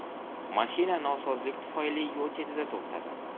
Mashina nosozlik tufayli yo‘l chetida to‘xtadi.